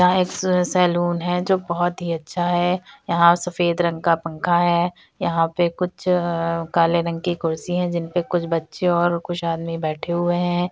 यहाँ एक सै सैलून है जो बहुत ही अच्छा है यहाँ सफेद रंग का पंखा है यहाँ पे कुछ अ काले रंग कि कुर्सी है जिनपे कुछ बच्चे और कुछ आदमी बैठे हुए हैं।